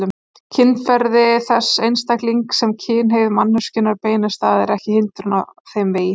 Kynferði þess einstaklings sem kynhneigð manneskjunnar beinist að er ekki hindrun á þeim vegi.